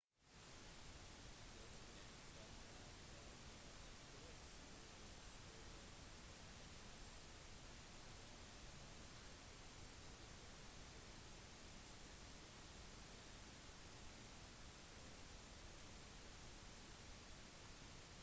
det ble ikke meldt om noen store skader men minst fem personer som var på stedet under eksplosjonen ble behandlet for symptomer på sjokk